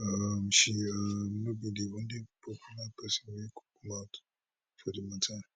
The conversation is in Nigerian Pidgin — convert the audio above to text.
um she um no be di only popular pesin wey mouth for di mata